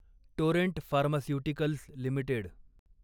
Torrent Pharmaceuticals limited